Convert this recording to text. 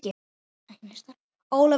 Ólafur Geir.